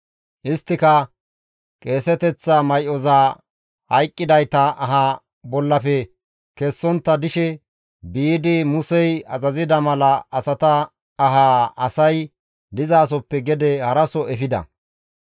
Isttika qeeseteththa may7oza hayqqidayta aha bollafe kessontta dishe biidi Musey azazida mala asata ahaa asay dizasoppe gede haraso efida.